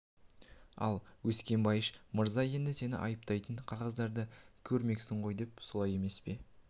ал өскенбайыш мырза енді сені айыптайтын қағаздарды көрмексің ғой солай емес пе